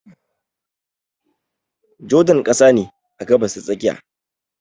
Jordan ƙasa ne a Gabas ta tsakiya